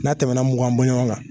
N'a tɛmɛna mugan bɔɲɔgɔn kan